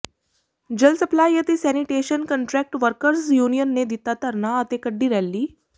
ਜਲ ਸਪਲਾਈ ਅਤੇ sanitation contract workers union ਨੇ ਦਿੱਤਾ ਧਰਨਾ ਅਤੇ ਕੱਢੀ ਰੈਲੀ